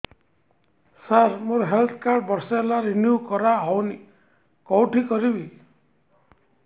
ସାର ମୋର health card ବର୍ଷେ ହେଲା ରିନିଓ କରା ହଉନି କଉଠି କରିବି